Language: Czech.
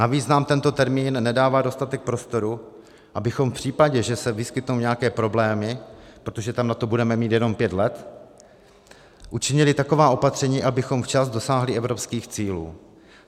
Navíc nám tento termín nedává dostatek prostoru, abychom v případě, že se vyskytnou nějaké problémy, protože tam na to budeme mít jenom pět let, učinili taková opatření, abychom včas dosáhli evropských cílů.